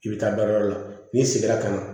I bɛ taa baarayɔrɔ la n'i seginna ka na